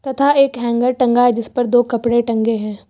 तथा एक हैंगर टंगा है जिस पर दो कपड़े टंगे हैं।